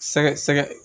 Sɛgɛ sɛgɛ